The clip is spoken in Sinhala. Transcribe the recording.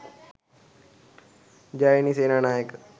jayani senanayaka